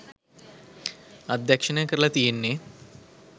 අධ්‍යක්ෂණය කරල තියෙන්නෙ